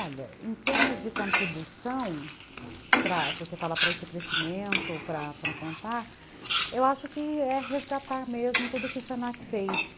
Olha, em termos de contribuição, você fala para esse crescimento, para para contar, eu acho que é resgatar mesmo tudo o que o se na que fez.